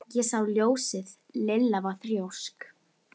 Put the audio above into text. Ég sá ljósið. Lilla var þrjósk.